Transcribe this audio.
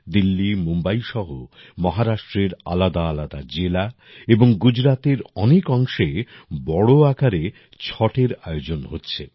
দিল্লী মুম্বাই সহ মহারাষ্ট্রের আলাদাআলাদা জেলা এবং গুজরাতের অনেক অংশে বড় আকারে ছটের আয়োজন হচ্ছে